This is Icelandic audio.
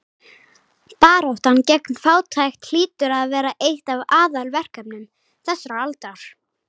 Baráttan gegn fátækt hlýtur að vera eitt af aðalverkefnum þessarar aldar.